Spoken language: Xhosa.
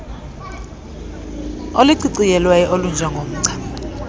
oluciciyelweyo olunje ngomgca